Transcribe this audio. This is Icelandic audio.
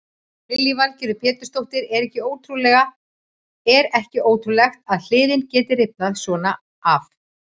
Lillý Valgerður Pétursdóttir: Er ekki ótrúlegt að hliðin geti rifnað svona af?